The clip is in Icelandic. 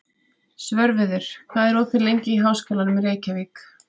Svörfuður, hvað er opið lengi í Háskólanum í Reykjavík?